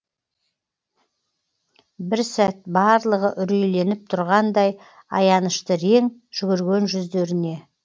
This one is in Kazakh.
бір сәт барлығы үрейленіп тұрғандай аянышты рең жүгірген жүздеріне